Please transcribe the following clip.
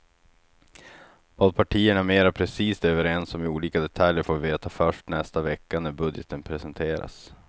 Vad partierna mera precist är överens om i olika detaljer får vi veta först nästa vecka när budgeten presenteras.